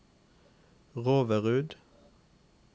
Roverud